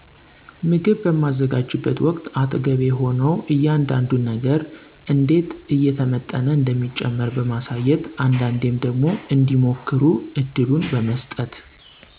ምግብ በማዘጋጅበት ወቅት አጠገቤ ሆነው እያንዳዱን ነገር እንዴት እየተመጠነ እንደሚጨመር በማሳየት አንዳንዴም ደግሞ እንዲሞክሩ እድሉን በመሥጠት